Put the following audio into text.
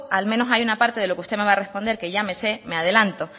al menos hay una parte de lo que usted me va a responder que ya se me me adelanto